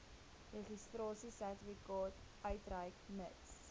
registrasiesertifikaat uitreik mits